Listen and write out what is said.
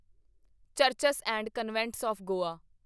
churches and convents of Goa